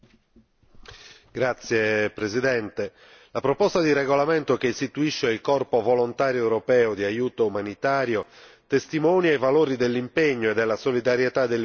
La proposta di regolamento che istituisce il Corpo volontario europeo di aiuto umanitario testimonia i valori dell'impegno e della solidarietà dell'Unione nei confronti delle popolazioni in difficoltà.